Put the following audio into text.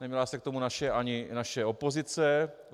Neměla se k tomu ani naše opozice.